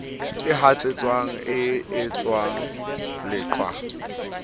e hatsetswang e etsuwang leqhwa